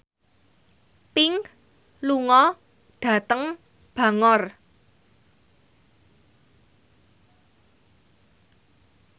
Pink lunga dhateng Bangor